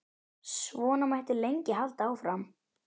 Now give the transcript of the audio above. Svona mætti lengi halda áfram.